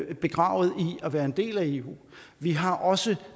at være en del af eu vi har også